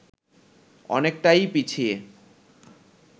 অনেকটাই পিছিয়ে